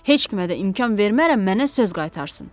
Heç kimə də imkan vermərəm mənə söz qaytarsın.